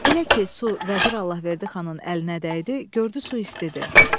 Elə ki su vəzir Allahverdi xanın əlinə dəydi, gördü su istidir.